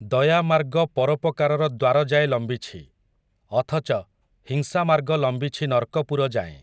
ଦୟାମାର୍ଗ ପରୋପକାରର ଦ୍ୱାର ଯାଏ ଲମ୍ବିଛି, ଅଥଚ, ହିଂସା ମାର୍ଗ ଲମ୍ବିଛି ନର୍କପୁରଯାଏଁ ।